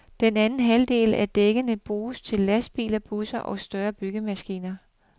Den anden halvdel af dækkene bruges til lastbiler, busser og større byggemaskiner.